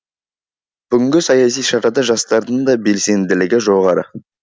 бүгінгі саяси шарада жастардың да белсенділігі жоғары